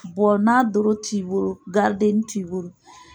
n'a dɔrɔ t'i boro garidennin t'i boro.